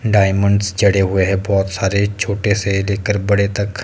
diamonds जड़े हुए है बहोत सारे छोटे से लेकर बड़े तक--